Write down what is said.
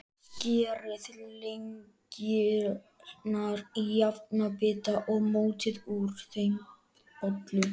Skerið lengjurnar í jafna bita og mótið úr þeim bollur.